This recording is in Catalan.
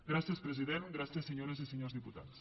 gràcies president gràcies senyores i senyors diputats